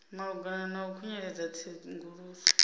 malugana na u khunyeledza tsenguluso